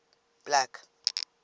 black